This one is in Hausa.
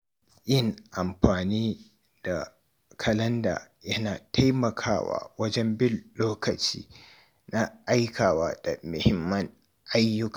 Yin amfani da kalanda yana taimakawa wajen bin lokaci na aikawa da muhimman ayyuka.